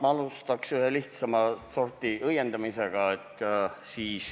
Ma alustaks ühe lihtsamat sorti õiendamisega.